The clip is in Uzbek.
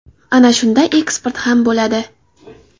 Ana shunda eksport ham bo‘ladi.